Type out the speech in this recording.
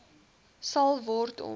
sal word om